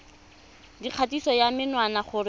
dikgatiso ya menwana gore o